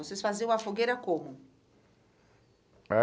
Vocês faziam a fogueira como? Ah